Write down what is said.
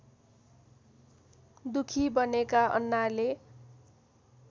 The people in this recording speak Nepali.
दुखी बनेका अन्नाले